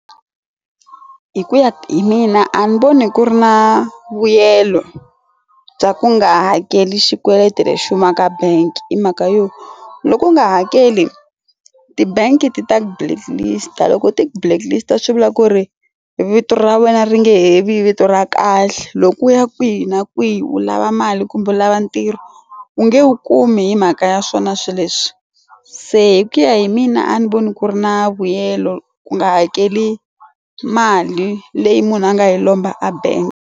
Hi ku ya hi mina a ni voni ku ri na vuyelo bya ku nga hakeli xikweleti lexi humaka bank hi mhaka yo loku nga hakeli ti-bank ti ta blacklist loko ti blacklist swivula ku ri vito ra wena ri nge he vi hi vito ra kahle loko u ya kwihi na kwihi u lava mali kumbe lava ntirho u nge wu kumi hi mhaka ya swona swilo leswi se hi ku ya hi mina a ni voni ku ri na vuyelo ku nga hakeli mali leyi munhu a nga yi lomba a bank.